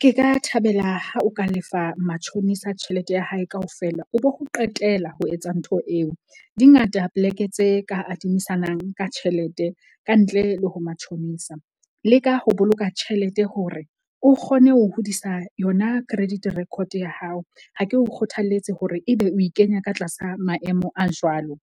Ke ka thabela ha o ka lefa matjhonisa tjhelete ya hae kaofela o bo ho qetela ho etsa ntho eo. Di ngata plek-e tse ka adimisana ka tjhelete kantle le ho matjhonisa. Leka ho boloka tjhelete hore o kgone ho hodisa yona credit record-o ya hao. Ha ke o kgothaletse hore ebe o e kenya ka tlasa maemo a jwalo.